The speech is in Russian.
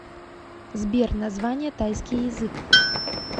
сбер название тайский язык